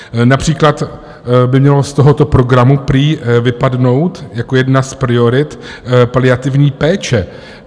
Například by měla z tohoto programu prý vypadnout jako jedna z priorit paliativní péče.